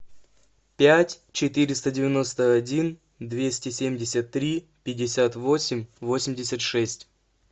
пять четыреста девяносто один двести семьдесят три пятьдесят восемь восемьдесят шесть